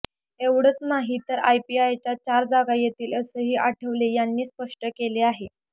एवढंच नाही तर आरपीआयच्या चार जागा येतील असंही आठवले यांनी स्पष्ट केलं आहे